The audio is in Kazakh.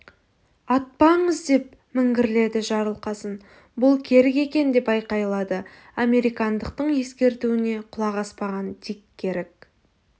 атпаңыз деп міңгірледі жарылқасын бұл керік екен деп айқайлады американдықтың ескертуіне құлақ аспаған дик керік